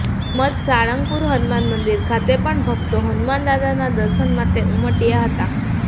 તેમજ સાળંગપુર હનુમાન મંદિર ખાતે પણ ભક્તો હનુમાન દાદાના દર્શન માટે ઉમટ્યા હતા